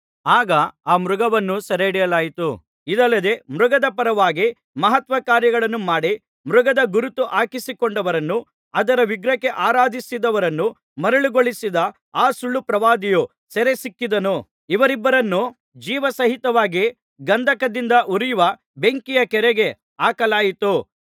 ಆಗ ಆ ಮೃಗವನ್ನು ಸೆರೆಹಿಡಿಯಲಾಯಿತು ಇದಲ್ಲದೆ ಮೃಗದ ಪರವಾಗಿ ಮಹತ್ಕಾರ್ಯಗಳನ್ನು ಮಾಡಿ ಮೃಗದ ಗುರುತು ಹಾಕಿಸಿಕೊಂಡವರನ್ನೂ ಅದರ ವಿಗ್ರಹಕ್ಕೆ ಆರಾಧಿಸಿದವರನ್ನೂ ಮರುಳುಗೊಳಿಸಿದ ಆ ಸುಳ್ಳುಪ್ರವಾದಿಯೂ ಅದರೊಂದಿಗೆ ಸೆರೆಸಿಕ್ಕಿದನು ಇವರಿಬ್ಬರನ್ನೂ ಜೀವಸಹಿತವಾಗಿ ಗಂಧಕದಿಂದ ಉರಿಯುವ ಬೆಂಕಿಯ ಕೆರೆಗೆ ಹಾಕಲಾಯಿತು